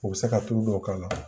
U bɛ se ka tulu dɔw k'a la